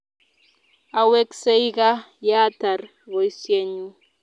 Aweksei kaa yeatar poisyennyu